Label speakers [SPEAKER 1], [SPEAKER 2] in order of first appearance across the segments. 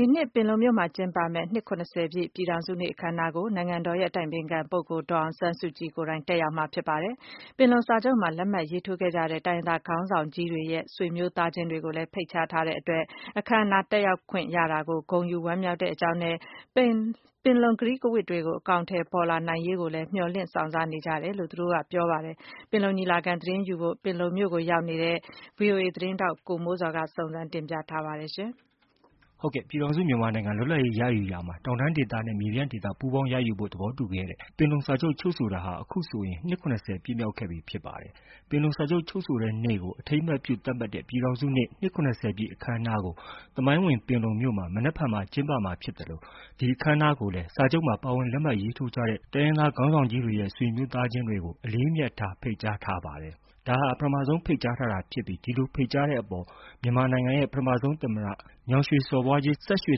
[SPEAKER 1] ဒီနှစ် ပင်လုံမြို့မှာကျင်းပမယ့်နှစ် ၇၀ ပြည့် ပြည်ထောင်စုပွဲကို နိုင်ငံတော်အတိုင်ပင်ခံ ပုဂ္ဂိုလ် ဒေါ်အောင်ဆန်းစုကြည် တက်ရောက်ဖို့ရှိသလို ပင်လုံစာချုပ်မှာ လက်မှတ်ရေးထိုး ခဲ့ကြတဲ့ တိုင်းရင်းသားခေါင်းဆောင်ကြီးတွေရဲ့ ဆွေမျိုးသားချင်းတွေလည်း ဖိတ်ကြားထား ပါတယ်။ ရောက်ရှိနေကြတဲ့ တိုင်းရင်းသားခေါင်းဆောင် ကြီးတွေရဲ့ဆွေမျိုးတွေဟာ အခမ်း အနားကို တက်ရောက်ခွင့်ရတဲ့အတွက် ဂုဏ်ယူ ဝမ်းမြောက် ကြောင်း ပြောဆိုကြပြီး တဆက်တည်းမှာပဲ ပင်လုံကတိကဝတ်တွေ အကောင်အထည်ဖော်ရေးကိုလည်း မျှော် လင့်စောင့်စား နေကြောင်းပြော ကြပါတယ်။ ပင်လုံမြို့မှာရောက်ရှိ သတင်းယူနေတဲ့ ဗီအိုအေ မြန်မာပိုင်းသတင်းထောက် ကိုမိုးဇော်က ဒီအကြောင်းသတင်း ပို့ထားပါတယ်။ ဟ
[SPEAKER 2] ုတ်ကဲ့ပါ။ ပြည်ထောင်စုမြန်မာနိုင်ငံ လွတ်လပ်ရေးရယူရာမှာ တောင်တန်းဒေသ နဲ့ မြေပြန့်ဒေသ ပူးပေါင်းရယူဖို့ သဘောတူခဲ့ကြတဲ့ ပင်လုံ စာချုပ် ချုပ်ဆိုတာက ခုဆိုရင် နှစ် ၇၀ ပြည့်မြောက်ခဲ့ပြီ ဖြစ်ပါတယ်။ ပင်လုံစာချုပ် ချုပ်ဆိုတဲ့နေ့ကို အထိမ်း အမှတ်ပြု သတ်မှတ်တဲ့ ပြည်ထောင်စုနေ့ နှစ် ၇၀ပြည့် အခမ်းအနားကို သမိုင်းဝင် ပင်လုံမြို့မှာ မနက်ဖြန် ကျင်းပမှာဖြစ်သလို ဒီအခမ်းအနားကိုလည်း စာချုပ်မှာ ပါဝင် လက်မှတ်ရေးထိုးခဲ့ကြတဲ့ တိုင်းရင်းသားခေါင်းဆောင်ကြီးတွေရဲ့ ဆွေမျိုးသားချင်းတွေကို အလေးအမြတ်ထား ဖိတ်ကြားထားပါတယ်။ ဒါဟာ ပထမဆုံး ဖိတ်ကြားတာဖြစ်ပြီး ဒီလို ဖိတ်ကြားတဲ့အပေါ် မြန်မာပြည်ရဲ့ ပထမဆုံး သမ္မတ ညောင်ရွှေစော်ဘွားကြီး စဝ်ရွှေ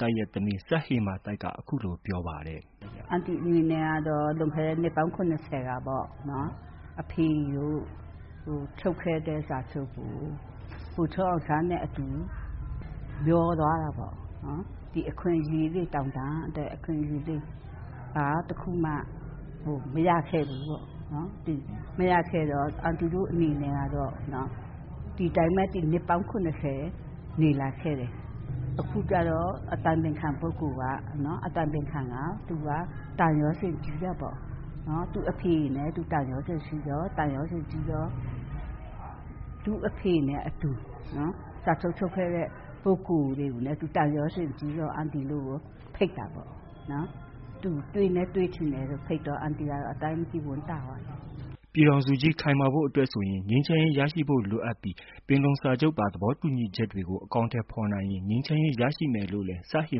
[SPEAKER 2] သိုက်ရဲ့ သမီး စဝ်ဟေမာသိုက်က ခုလို ပြော ပါတယ်။
[SPEAKER 1] “ အန်တီအနေနဲ့ကတော့ လွန်ခဲ့တဲ့ နှစ်ပေါင်း ၇၀မှာ အဖေတို့ချုပ်ခဲ့တဲ့ စာချုပ်ဟာ ဗိုလ်ချုပ်အောင်ဆန်းနဲ့အတူ မြောသွားတာပေါ့။ ဒီ တောင်တန်းအတွက် အခွင့်အရေးတွေ ဘာတခုမှ မရခဲ့ဘူးပေါ့။ မရခဲ့တော့ အန်တီတို့ အနေနဲ့ကတော့ ဒီအတိုင်းပဲ ဒီနှစ်ပေါင်း ၇၀ နေလာ ခဲ့တယ်။ အခုကျတော့ အတိုင်ပင်ခံပုဂ္ဂိုလ်က သူက သံယောဇဉ်ကြီးတာပေါ့ သူ့အဖေနဲ့ သူသံယောဇဉ်ရှိတော့ သံယောဇဉ်ကြီးတော့ - သူ့အဖေနဲ့အတူ စာချုပ်ချုပ်ခဲ့တဲ့ ပုဂ္ဂိုလ်တွေကိုလည်း သူသံယောဇဉ်ကြီးတော့ အန်တီတို့ကို ဖိတ်တာပေါ့နော်။ သူတွေ့ လည်း တွေ့ချင်တယ်လို့ ဖိတ်တော့ အန်တီကတော့ အတိုင်းမသိ ဝမ်းသာပါတယ် ”
[SPEAKER 2] ပြည်ထောင်စုကြီး ခိုင်မာဖို့အတွက်ဆိုရင် ငြိမ်းချမ်းရေးရရှိဖို့ လိုအပ်ပြီး ပင်လုံစာချုပ်ပါ သဘောတူညီချက်တွေ အကောင်အထည်ဖော်နိုင် ငြိမ်းချမ်းရေး ရရှိမယ်လို့လည်း စဝ်ဟေ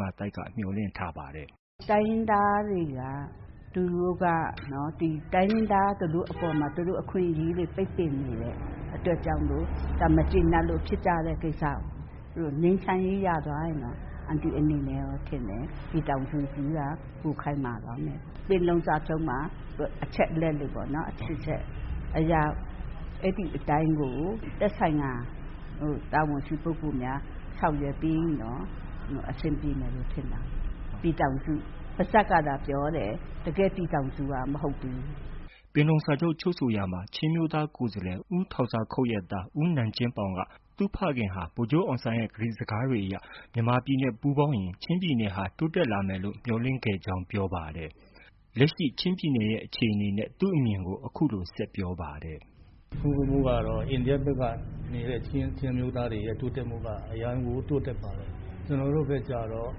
[SPEAKER 2] မာသိုက်က မျှော်လင့်ထားပါတယ်။
[SPEAKER 1] “ တိုင်းရင်းသားတွေက သူတို့ကနော် - တိုင်းရင်းသား သူတို့အပေါ်မှာ အခွင့်အရေးတွေ ပိတ်ပင်နေတဲ့ အတွက်ကြောင့်မို့ ဒါမကြေနပ်လို့ ဖြစ်ကြတဲ့ ကိစ္စပဲ။ သူတို့ ငြိမ်းချမ်းရေး ရသွားရင်တော့ ပြည်ထောင်စုကြီးက ပိုခိုင်မာသွားမယ် အန်တီထင်တယ်။ ပင်လုံစာချုပ် မှာပါတဲ့ အချက်လက်တွေအတိုင်း သက်ဆိုင်ရာ တာဝန်ရှိပုဂ္ဂိုလ်တွေက ဆောင်ရွက်ပေး ရင်တော့ အဆင်ပြေမယ်လို့ ထင်ပါတယ်။ ပြည်ထောင်စုလို့ ပါးစပ် ကသာပြောတယ် တကယ့် ပြည်ထောင်စု မဟုတ်သေးဘူး ”
[SPEAKER 2] ပင်လုံစာချုပ် ချုပ်ဆိုရာမှာ ချင်းအမျိုးသားကိုယ်စားလှယ်ဥ ီးထောင်ဇာခုပ်ရဲ့သား နန်ကျင်ပေါင်က သူ့ဖခင်က ဗိုလ်ချုပ်အောင်ဆန်းရဲ့ ကတိ စကားတွေအရ မြန်မာပြည် နဲ့ပူးပေါင်းရင် ချင်းပြည်နယ်ဟာ တိုးတက်လာမယ်လို့ မျှော်လင့်ခဲ့ကြောင်း ပြောပါတယ်။ လက်ရှိ ချင်းပြည်နယ်ရဲ့ အခြေအနေနဲ့ သူ့အမြင်ကို အခုလို ဆက်ပြောပါတယ်။ “ အိန္ဒယဖက
[SPEAKER 3] ်ခြမ်းမှာနေတဲ့ ချင်းအမျိုးသားတွေက အရမ်းကိုတိုးတက်ပါတယ်။ ကျနော် တို့ဘက်ကျတော့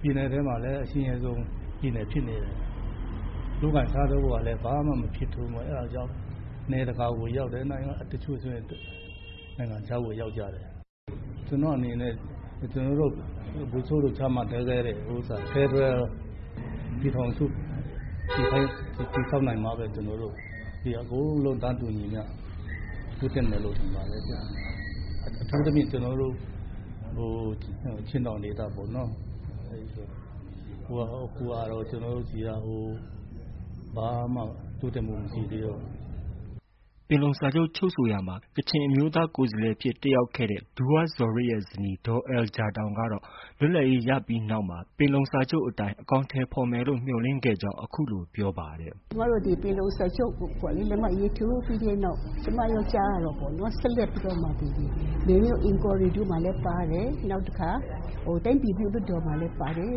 [SPEAKER 3] ပြည်နယ်ထဲမှာလည်း အဆင်းရဲဆုံး ပြည်နယ်ဖြစ်နေတယ်။ လုပ်ကိုင် စားသောက်ဖို့ကလည်း ဘာမှမဖြစ်ထွန်းဘူး၊ အဲဒါကြောင့် နယ်တကာကို ရောက်တယ်။ တချို့ဆိုရင် နိုင်ငံခြားကို ရောက်ကြတယ်။ ကျနော့်အနေနဲ့ကတော့ ကျနော်တို့ ဗိုလ်ချုပ်တို့ ကြားမှာပြောခဲ့တဲ့ ဖယ်ဒရယ်ပြည်ထောင်စု စစ်စစ်ကို တည်ဆောက်နိုင်မှပဲ အကုန်လုံး တန်းတူညီမျှ တိုးတက်မယ်လို့ ထင်ပါတယ်။ အထူးသဖြင့် ကျနော်တို့ ချင်းတောင်ဒေ သပေါ့နော်၊ အခုဟာက ကျနော်တို့ဆီမှာ ဘာမှ တိုးတက်မှု မရှိသေးဘူး ”
[SPEAKER 2] ပင်လုံစာချုပ်ချုပ်ဆိုရာမှာ ကချင်ကိုယ်စားလှယ်အဖြစ ်တက်ရောက်ခဲ့တဲ့ ဒူဝါးဇော်ရစ်ရဲ့ ဇနီး ဒေါ်အယ်လ်ဂျာတောင်ကတော့ လွတ်လပ်ရေး ရပြီးနောက်မှာ ပင်လုံစာချုပ်အတိုင်း အကောင်အထည်ဖော်မယ်လို့ မျှော်လင့်ခဲ့ကြောင်း အခုလို ပြောပါတယ်။ “
[SPEAKER 4] ကျမတို့ ဒီပင်လုံစာချုပ်ကို လက်မှတ်ရေးထိုးပြီးတဲ့နောက်၊ ကျမတို့ ကြားရတာပေါ့နော်.. ဆက်လက်ပြီးတော့မှ မေမြို့ inquiry ထဲမှာလဲပါတယ် နောက်တခါ တိုင်းပြည်ပြုလွှတ်ေ တာ်မှာလည်း ပါတယ်တဲ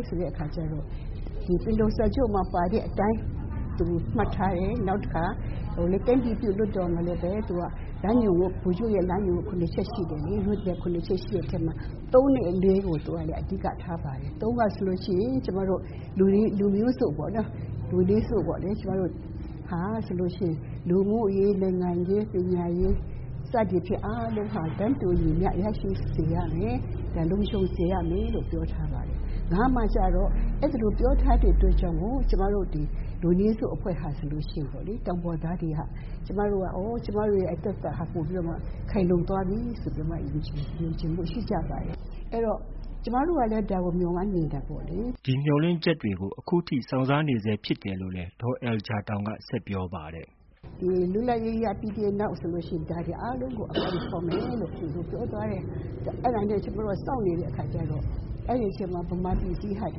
[SPEAKER 4] ့.. ဆိုတဲ့အခါကျတော့ ဒီပင်လုံစာချုပ်မှာ ပါတဲ့အတိုင်း သူတို့ မှတ် ထားတယ် နောက်တခါ တိုင်းပြည်ပြုလွှတ်တော်မှာလည်းပဲ သူက ဗိုလ်ချုပ်ရဲ့ လမ်းညွှန် ၇-ချက်ရှိတယ်လေ အဲဒီထဲမှာ ၃ နဲ့ ၄ကို သူက အဓိကထား ပါတယ်။ ၃ ကဆိုလို့ရှိရင် လူမျိုးစုံပေါ့နော်၊ လူမျိုးစုံ ကျမတို့ဟာ လူမှုရေး နိုင်ငံရေး ပညာရေး စသည်ဖြင့် အားလုံးဟာ တန်းတူညီမျှ ရရှိစေရ မယ်.. လုံခြုံစေမယ်လို့ ပြောထားပါတယ်။ ၅ မှာကျတော့ အဲ သည်လိုပြော ထားတဲ့ အတွက်ကြောင့်မို့ ကျမတို့ လူမျိုးစုအဖွဲ့တွေဟာ ဆိုလို့ ရှိရင်ပေါ့လေ ၊ တောင်ပေါ်သားတွေဟာ - အော် ကျမတို့အတွက်တော့ ခိုင်လုံသွားပြီလို့ ယုံကြည်မှု ရှိခဲ့ကြပါတယ်။ အဲဒီတော့ ကျမတို့တွေကလည်း ဒါကို မျှော်လင့်နေတာပေါ့လေ ”
[SPEAKER 2] ဒီမျှော်လင့်ချက်တွေကို အခုချိန်ထိ စောင့်စားနေဆဲဖြစ်တယ်လို့လည်း ဒေါ်အယ်လယ်လ် ဂျာတောင်က ဆက်ပြောပါတယ်။
[SPEAKER 4] “လွတ်လပ်ရေးရပြီးနောက်မှာ ဒါတွေအားလုံးကို အကောင်အထည်ဖေါ်မယ်လို့ ပြောထား တဲ့ အတွက် အဲဒါကို ကျမတို့စောင့်နေတဲ့အခါ ကျတော့ အဲဒီအချိန်အတွင်း မြန်မာပြည် ကြီးမှာ သူ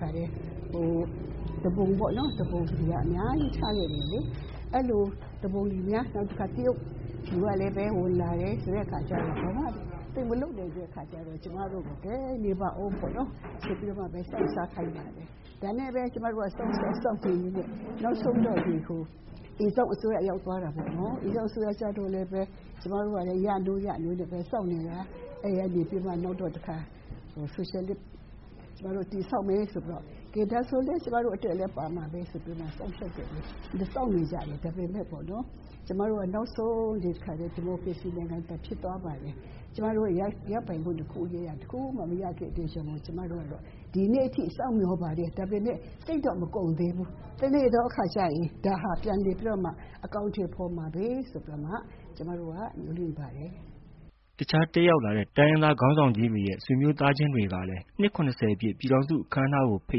[SPEAKER 4] ပုန်တွေအများကြီး ထခဲ့တယ်လေ။ အဲလိုသူပုန်တွေကလည်းများ၊ တခါ တရုတ်တွေကလည်း ဝင်လာတယ် ဆိုတဲ့အခါကျတော့.. သူ မလုပ်နိုင်တဲ့အခါကျတော့ ကျမတို့ကိုလဲ.. ကဲ နေပါဦးပေါ့နော်။ ဆိုပြီးတော့မှ စောင့်စားခိုင်းပါတယ်။ ဒါနဲ့ပဲ ကျမ တို့လည်း စောင့်.. စောင့်နေရင်းနဲ့ နောက်ဆုံးတော့ဟို အိမ်စောင့်အစိုးရ လက်ထက် ရောက် သွားတာပေါ့ နော်။ အိမ်စောင့်အစိုးရ ကျတော့လည်းပဲ ကျမတို့ ကလည်းပဲ ရနိုး ရနိုးနဲ့ပဲစောင့်နေတာ အဲဒီကနေပြီးတော့ နောက်တော့တခါ ဆိုရှယ်လစ် တည်ဆောက်မယ် ဆိုပြီးတော့.. ကဲဒါဆိုလည်း ကျမတို့အတွက်လည်း ပါမှာပဲဆို ပြီးတော့မှ စောင့်နေကြတာ ဒါပေမယ့်.. နောက်ဆုံးကျ ကျမတို့ ဒီမိုကရေစီနိုင်ငံသာ ဖြစ် သွားပါတယ် ၊ ကျမတို့ရပိုင်ခွင့် အခွင့်အရေးက တခုမှ မရသေးတဲ့အတွက်ကြောင့်မို့ ဒီနေ့ ထိ စောင့်မျှော် ပါတယ်။ ဒါပေမယ့် စိတ်တော့မကုန်သေးဘူး။ တနေ့သောအခါကျရင် ဒါဟာ ပြန်လည်ပြီးတော့မှ အကောင်အထည်ဖေါ်မှာပဲ ဆိုပြီးမှ ကျမတို့က မျှော်လင့်ပါတယ် ”
[SPEAKER 2] တခြားတက်ရောက်လာတဲ့ တိုင်းရင်းသားခေါင်းဆောင်ကြီးတွေရဲ့ ဆွေမျိုး သားချင်းတွေ ကလည်း နှစ် ၇၀ပြည့် ပြည်ထောင်စုအခမ်းအနားကို ဖိ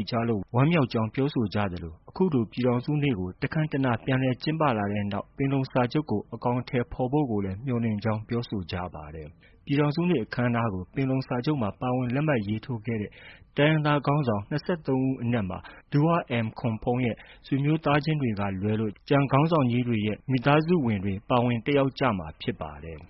[SPEAKER 2] တ်ကြားလို့ ဝမ်းမြောက်ေ ကြာင်း ပြောဆိုကြသလိုအခုလို ပြည်ထောင်စုနေ့ကို တခမ်းတနား ပြန်လည်ကျင်းပ လာတဲ့နောက်မှာ ပင်လုံ စာချုပ်ကို အကောင်အထည် ဖော်ဆောင်ဖို့ကိုလည်း မျှော် လင့်ကြောင်း ပြောဆိုကြပါတယ်။ ပြည်ထောင်စုနေ့အခမ်းနားကို ပင်လုံစာချုပ်မှာ ပါဝင် လက်မှတ်ရေးထိုးခဲ့တဲ့ တိုင်းရင်းသား ခေါင်းဆောင်၂၃ ဦးအနက်မှာ ဒူးဝါးအမ်ခွန်ဖုန်းရဲ့ ဆွေမျိုးသားချင်းတွေ ကလွဲလို့ ကျန်မိသားစုဝင်တွေ ပါဝင်တက်ရောက်ကြမှာ ဖြစ်ပါတယ်။